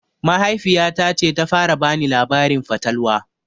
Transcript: Mahaifiya ta ce ta fara bani labarin fatalwa